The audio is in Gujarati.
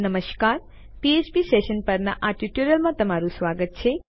નમસ્કાર અને ફ્ફ્પ સેશન પર આ ટ્યુટોરીયલમાં તમારું સ્વાગત છે